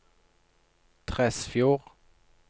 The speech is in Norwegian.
Tresfjord